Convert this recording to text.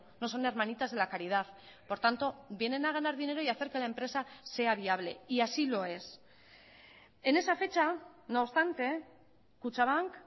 no son hermanitas de la caridad por tanto vienen a ganar dinero y hacer que la empresa sea viable y así lo es en esa fecha no obstante kutxabank